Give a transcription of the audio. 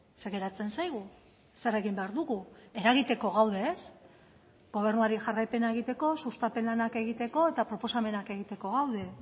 zer geratzen zaigu zer egin behar dugu eragiteko gaude ez gobernuari jarraipena egiteko sustapen lanak egiteko eta proposamenak egiteko gaude